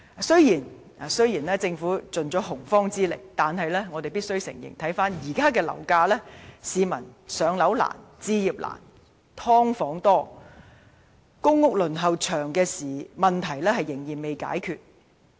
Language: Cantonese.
雖然政府已出盡洪荒之力，但我們必須承認，回看現時的樓價，市民"上樓難"、置業難、"劏房"多及公屋輪候時間長的問題仍未解決。